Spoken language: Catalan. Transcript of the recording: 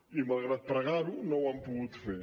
i malgrat pregar ho no ho han pogut fer